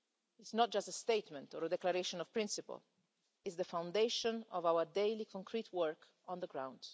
is not just a statement or a declaration of principle it is the foundation of our daily concrete work on the ground.